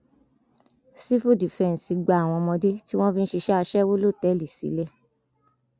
sífù dífẹǹsì gba àwọn ọmọdé tí wọn fi ń ṣiṣẹ aṣẹwó lọtẹẹlì sílẹ